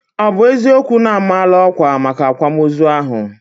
Ọ bụ eziokwu na a maala ọkwà maka akwamozu ahụ?